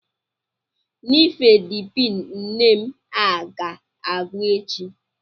Nifedipin nne m a ga-agwụ echi?